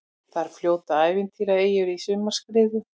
Þar fljóta ævintýraeyjur í sumarskrúða.